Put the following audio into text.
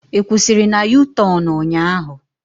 Ị kwusiri na u-tornu ụnyaahụ?